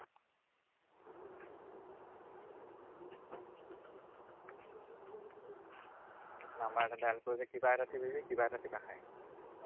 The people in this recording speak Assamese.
number এটা dial কৰিবি কিবা এটা টিপিলে কিবা এটা টিপা খায়